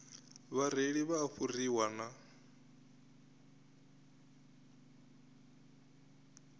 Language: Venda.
vhareili vha a fhuriwa na